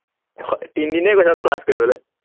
আহ তিনদিনেই গৈছ ক্লাচ কৰিবলে